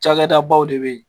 Cakɛda baw de be yen.